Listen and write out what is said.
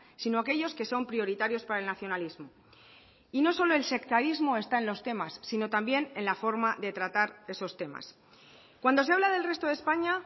sino aquellos que son prioritarios para el nacionalismo y no solo el sectarismo está en los temas sino también en la forma de tratar esos temas cuando se habla del resto de españa